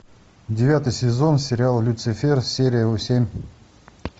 девятый сезон сериал люцифер серия семь